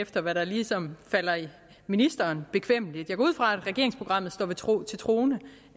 efter hvad der ligesom falder ministeren bekvemmeligt jeg går ud fra at regeringsprogrammet står til troende og